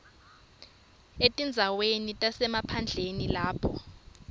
etindzaweni tasemaphandleni lapho